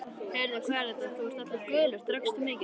Heyrðu, hvað er þetta, þú ert allur gulur, drakkstu mikið?